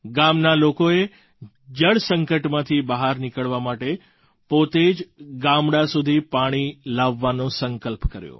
ગામના લોકોએ જળ સંકટમાંથી બહાર નીકળવા માટે પોતે જ ગામડા સુધી પાણી લાવવાનો સંકલ્પ કર્યો